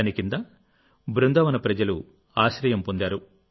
దాని కింద బృందావన ప్రజలు ఆశ్రయం పొందారు